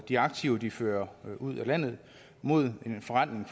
de aktiver de fører ud af landet mod en forrentning